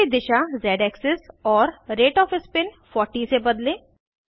spin की दिशा z axis और रेट ऑफ़ स्पिन 40 से बदलें